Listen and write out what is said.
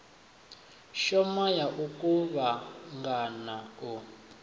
shoma ya u kuvhangana u